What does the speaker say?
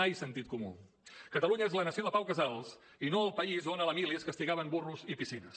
ai sentit comú catalunya és la nació de pau casals i no el país on a la mili es castigaven burros i piscines